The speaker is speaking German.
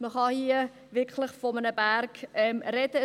Man kann hier wirklich von einem Berg sprechen.